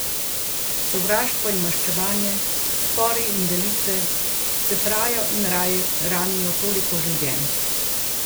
Sovraštvo in maščevanje, spori in delitve scefrajo in ranijo toliko življenj.